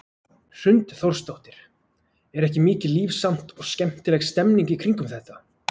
Hrund Þórsdóttir: Er ekki mikið líf samt og skemmtileg stemming í kringum þetta?